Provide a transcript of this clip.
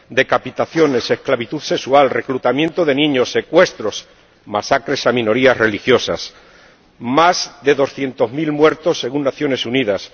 Decapitaciones, esclavitud sexual, reclutamiento de niños, secuestros, masacres a minorías religiosas —más de doscientos mil muertos según Naciones Unidas—